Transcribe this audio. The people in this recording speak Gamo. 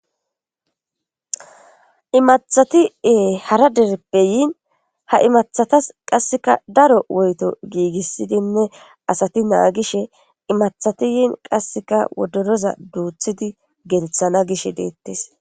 Imathati ee hara dereppeyiin ha imathatas qasseka daro woyto giigissidinne asati naagishe imathatiyiin qasseka wodoroza duuthidi gelethana gish deettes